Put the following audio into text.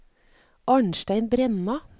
Arnstein Brenna